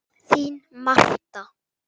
Þín Marta.